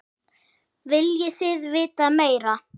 Viljið þið vita meira?